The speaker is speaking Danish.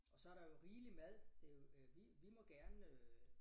Og så der jo rigeligt mad det jo øh vi vi må gerne øh